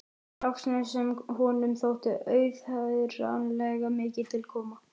Laxness sem honum þótti auðheyranlega mikið til koma.